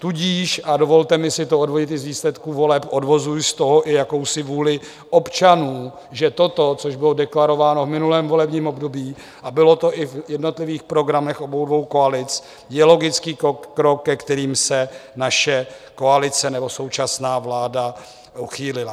Tudíž, a dovolte mi si to odvodit i z výsledků voleb, odvozuji z toho i jakousi vůli občanů, že toto, což bylo deklarováno v minulém volebním období a bylo to i v jednotlivých programech obou dvou koalic, je logický krok, ke kterému se naše koalice nebo současná vláda uchýlila.